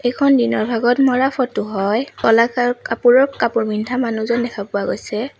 এইখন দিনৰ ভাগত মৰা ফটো হয় ক'লা কাৰ কাপোৰৰ কাপোৰ পিন্ধা মানুহজন দেখা পোৱা গৈছে।